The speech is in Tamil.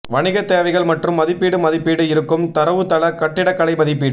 வணிக தேவைகள் மற்றும் மதிப்பீடு மதிப்பீடு இருக்கும் தரவுத்தள கட்டிடக்கலை மதிப்பீடு